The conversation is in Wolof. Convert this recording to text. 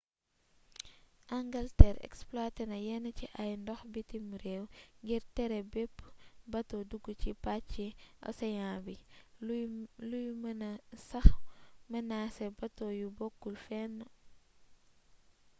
angalteer exploité na yenn ci ay ndox bitim réew ngir tere bépp bato dugg ci pàcci océan bi luy mëna sax mënaasé bato yu bokkul fenn